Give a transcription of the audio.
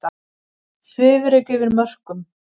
Svifryk yfir mörkum